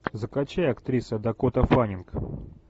закачай актриса дакота фаннинг